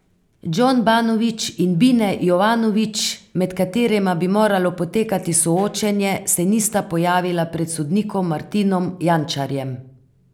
Džon Banović in Bine Jovanović, med katerima bi moralo potekati soočenje, se nista pojavila pred sodnikom Martinom Jančarjem.